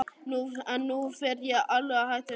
En nú fer ég alveg að hætta þessu.